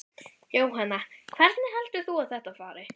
Jóhanna: Hvernig heldur þú að þetta fari?